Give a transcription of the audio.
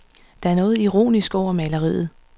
Der er noget ironisk over maleriet.